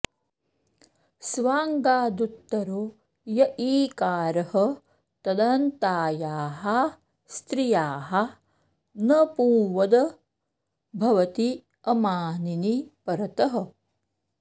स्वाङ्गादुत्तरो य ईकारः तदन्तायाः स्त्रियाः न पुंवद् भवति अमानिनि परतः